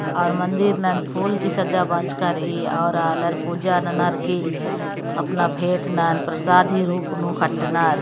और मन्दिर मन फुल ती सजा बजका रई और आलर पूजा नानार की अपना भेंट ला प्रसादी रूप नू खट नार-